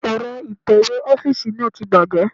Èrọ ìtẹ̀wé ọ́fíìsì náà ti bàjẹ́.